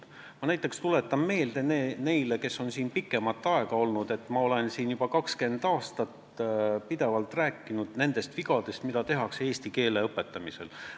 Ma näiteks tuletan meelde neile, kes on siin pikemat aega olnud, et ma olen juba 20 aastat pidevalt rääkinud nendest vigadest, mida tehakse eesti keele õpetamisel.